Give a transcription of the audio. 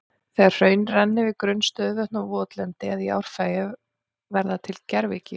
Þegar hraun renna yfir grunn stöðuvötn, votlendi eða í árfarvegi verða til gervigígar.